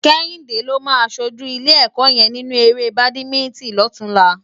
Kehinde ló má ṣójú ilé èkò yèn ninú éré bádimintin lòtúnlá